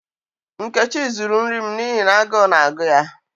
Nkechi zuru nri m n'ihi na agu na-agu ya.